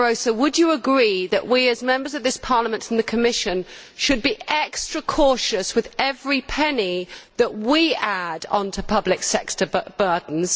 would you agree, Mr Barroso, that we, as Members of this Parliament, and the Commission should be extra cautious with every penny that we add onto public sector burdens?